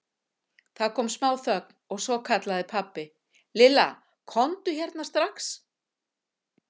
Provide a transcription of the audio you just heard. Það kom smá þögn og svo kallaði pabbi: Lilla, komdu hérna strax.